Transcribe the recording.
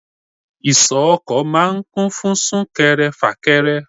Ìsọ̀ ọkọ̀ máa ń kún fún sún kẹrẹ, fà kẹrẹ.